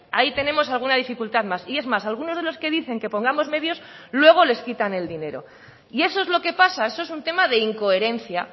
ahí tenemos alguna dificultad más y es más algunos de los que dicen que pongamos medios luego les quitan el dinero y eso es lo que pasa eso es un tema de incoherencia